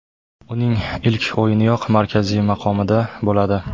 Uning ilk o‘yiniyoq markaziy maqomida bo‘ladi.